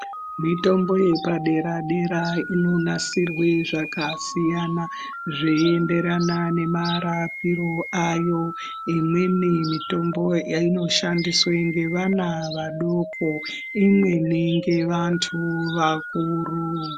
Mitombo yepaderadera inonasirwe zvakasiyana zveyenderana nemarapiro ayo . Imweni mitombo inoshandiswe nevana vadoko. Imweni ngevantu vakuru.